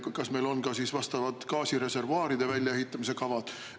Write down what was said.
Kas meil on ka gaasireservuaaride väljaehitamise kavad?